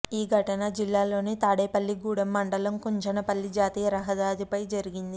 ఈ ఘటన జిల్లాలోని తాడేపల్లిగూడెం మండలం కుంచనపల్లి జాతీయ రహదారిపై జరిగింది